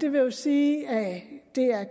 det vil sige